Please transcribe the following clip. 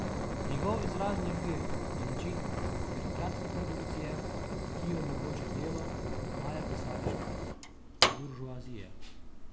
Njegov izrazni okvir je način birokratske produkcije, ki jo omogoča delo male pisarniške buržoazije.